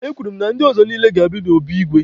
Ee, e kwuru na ndị ọzọ niile ga-abịa n'obi igwe.